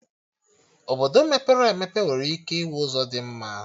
Obodo mepere emepe nwere ike ịnwe ụzọ dị mma